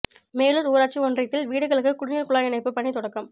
மேலூா் ஊராட்சி ஒன்றியத்தில் வீடுகளுக்கு குடிநீா் குழாய் இணைப்பு பணி தொடக்கம்